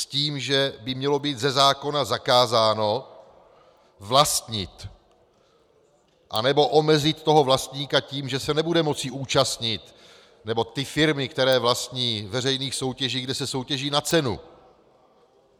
S tím, že by mělo být ze zákona zakázáno vlastnit, anebo omezit toho vlastníka tím, že se nebude moci zúčastnit, nebo ty firmy, které vlastní, veřejných soutěží, kde se soutěží na cenu.